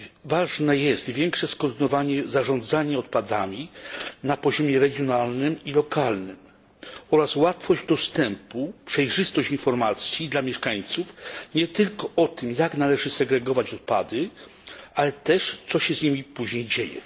Ważne jest większe skoordynowanie zarządzania odpadami na poziomie regionalnym i lokalnym oraz łatwość dostępu, przejrzystość informacji dla mieszkańców nie tylko o tym, jak należy segregować odpady, ale też o tym, co się z nimi później dzieje.